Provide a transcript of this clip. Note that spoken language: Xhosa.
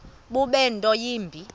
bube nto yimbi